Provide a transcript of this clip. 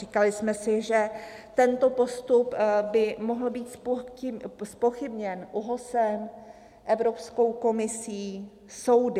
Říkali jsme si, že tento postup by mohl být zpochybněn ÚOHSem, Evropskou komisí, soudy.